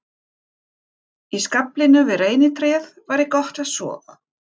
Í skaflinum við reynitréð væri gott að sofa.